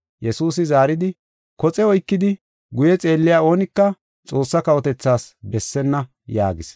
Yesuusi zaaridi, “Koxe oykidi guye xeelliya oonika Xoossa kawotethas bessenna” yaagis.